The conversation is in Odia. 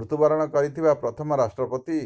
ମୃତ୍ୟୁବରଣ କରିଥିବା ପ୍ରଥମ ରାଷ୍ଟ୍ରପତିି